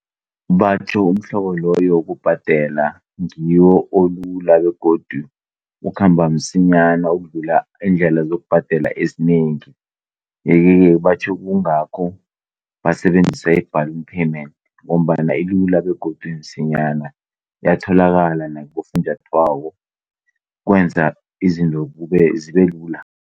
Batjho umhlobo loyo wokubhadela ngiwo olula begodu ukhamba msinyana ukudlula iindlela zokubhadela ezinengi. Yekeke batjho kungakho basebenzisa i-balloon payment ngombana ilula begodu imsinyana. Iyatholakala nakibofunjathwako, ukwenza izinto zibe lula.